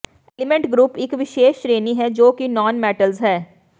element group ਇੱਕ ਵਿਸ਼ੇਸ਼ ਸ਼੍ਰੇਣੀ ਹੈ ਜੋ ਕਿ ਨਾਨਮੈਟਲਜ਼ ਹੈ